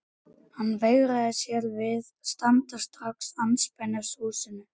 Hann veigraði sér við að standa strax andspænis húsinu.